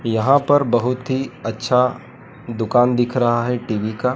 यहां पर बहोत ही अच्छा दुकान दिख रहा है टी_वी का--